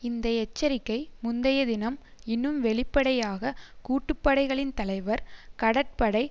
இந்த எச்சரிக்கை முந்தைய தினம் இன்னும் வெளிப்படையாக கூட்டுப்படைகளின் தலைவர் கடற்படை